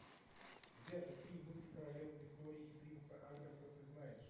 сбер какие внуки королевы виктории и принца альберта ты знаешь